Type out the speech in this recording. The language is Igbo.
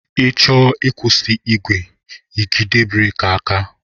I chọọ ịkwụsị igwe, ijide breki aka.